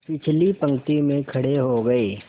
पिछली पंक्ति में खड़े हो गए